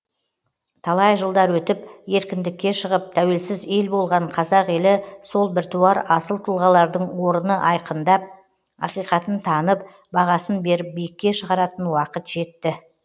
талай жылдар өтіп еркіндікке шығып тәуелсіз ел болған қазақ елі сол біртуар асыл тұлғалардың орыны айқындап ақиқатын танып бағасын беріп биікке шығаратын уақыт жетті